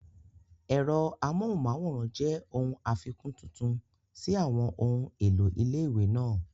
Ẹ̀rọ amóhùnmáwòrán jẹ́ ohun àfikún tuntun sí àwọn ohun èlò ilé-ìwé náà